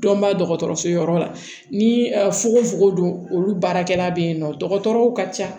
Dɔnba dɔgɔtɔrɔso yɔrɔ la ni fugofugo don olu baarakɛla bɛ yen nɔ dɔgɔtɔrɔw ka ca